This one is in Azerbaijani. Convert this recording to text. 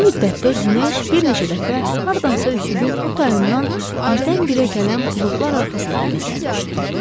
Bu müddətdə günəş bir neçə dəfə hardansa üfüqün o tayından birdən-birə gələn buludlar arxasında gizlənmişdi.